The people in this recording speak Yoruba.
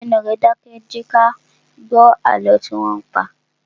Gbé ẹnu rẹ dákẹ́! Jẹ kí a gbó àlọ́ tí wọn ń pa!